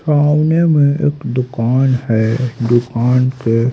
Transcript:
सामने में एक दुकान है दुकान पे--